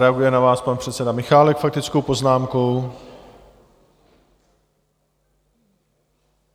Reaguje na vás pan předseda Michálek faktickou poznámkou.